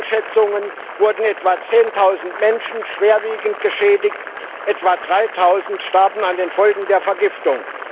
Nach heutigen Schätzungen wurden etwa zehntausend Menschen schwerwiegend geschädigt, etwa dreitausend starben an den Folgen der Vergiftung.